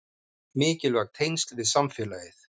Mikilvæg tengsl við samfélagið